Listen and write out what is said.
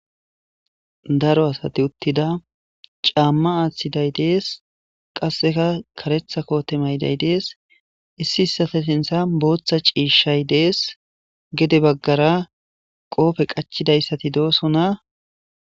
daro asati uttida caamma aaththiday dees qasseka karetha koote mayday dees issi issate sintha booththa ciishshay dees gede baggara qoofe qachidayssati dooso na